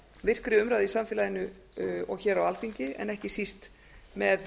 virkri umræðu i samfélaginu og hér á alþingi en ekki síst með